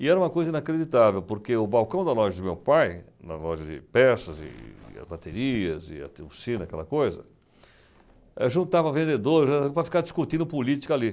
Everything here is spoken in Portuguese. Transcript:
E era uma coisa inacreditável, porque o balcão da loja do meu pai, na loja de peças e baterias e a, aquela coisa, juntava vendedores, ãh, para ficar discutindo política ali.